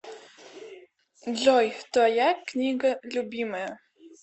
джой твоя книга любимая